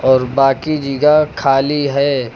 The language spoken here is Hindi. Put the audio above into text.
और बाकी जिगह खाली है।